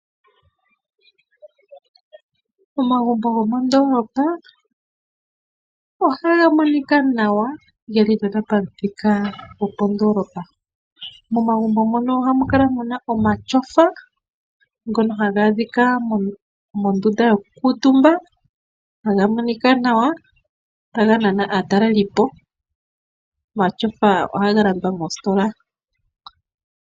Omagumbo gomondoolopa ohaga monika nawa ngele geli pam'thika gopondoolopa. Momagumbo mono ohamu kala muna omatyofa ngono haga adhika mondunda yoku kuutumba haga monika nawa taga nana aatalelipo. Omatyofa ohaga landwa moostola.